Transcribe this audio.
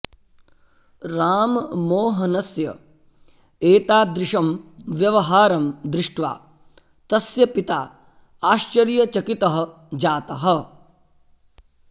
राममोहनस्य एतादृशं व्यवहारं दृष्ट्वा तस्य पिता आश्चर्यचकितः जातः